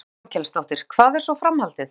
Þórhildur Þorkelsdóttir: Hvað er svo framhaldið?